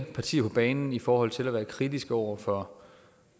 partier på banen i forhold til at være kritisk over for